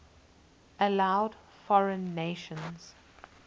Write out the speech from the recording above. allowed foreign nations